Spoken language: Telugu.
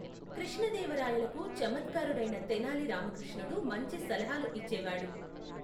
కృష్ణదేవరాయలకు చమత్కారుడైన తెనాలి రామకృష్ణుడు మంచి సలహాలు ఇచ్చేవాడు.